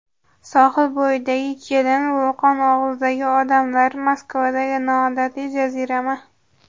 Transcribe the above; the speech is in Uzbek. Sohil bo‘yidagi kelin, vulqon og‘zidagi odamlar, Moskvadagi noodatiy jazirama.